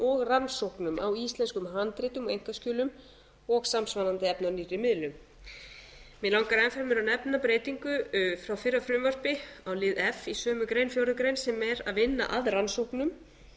og rannsóknum á íslenskum handritum og einkaskjölum og samsvarandi efni á nýrri miðlum mig langar enn fremur að nefna breytingu frá fyrra frumvarpi á lið f í sömu grein fjórðu grein sem er að vinna að rannsóknum